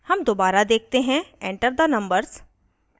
हम दोबारा देखते हैं enter the numbers